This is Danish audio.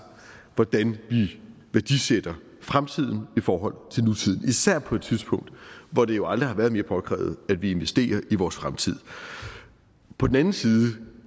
hvordan vi værdisætter fremtiden i forhold til nutiden især på et tidspunkt hvor det jo aldrig har været mere påkrævet at vi investerer i vores fremtid på den anden side